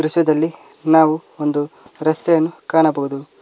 ಪಿಸರದಲ್ಲಿ ನಾವು ಒಂದು ರಸ್ತೆಯನ್ನು ಕಾಣಬಹುದು.